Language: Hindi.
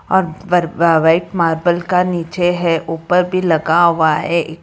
और बर व्हाइट मार्बल का नीचे है ऊपर भी लगा हुआ है।